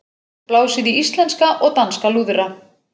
Blásið í íslenska og danska lúðra